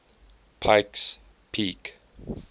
pikes peak